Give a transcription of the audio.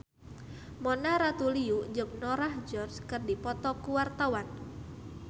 Mona Ratuliu jeung Norah Jones keur dipoto ku wartawan